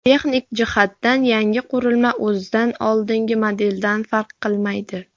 Texnik jihatdan yangi qurilma o‘zidan oldingi modeldan farq qilmaydi.